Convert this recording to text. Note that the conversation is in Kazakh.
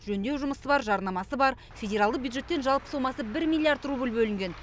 жөндеу жұмысы бар жарнамасы бар федералды бюджеттен жалпы сомасы бір миллиард рубль бөлінген